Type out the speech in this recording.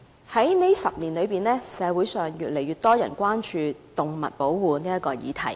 過去10年，社會上越來越多人關注保護動物這個議題。